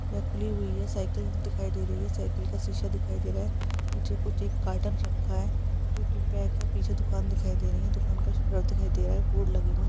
यह खुली हुई है| साइकिल दिखाई दे रही है| साइकिल का शीशा दिखाई दे रहा है| नीचे कुछ एक कार्टन रखा है जो की पैक है| पीछे दुकान दिखाई दे रही है| दुकान का शटर दिखाई दे रहा है| बोर्ड लगे हुए है।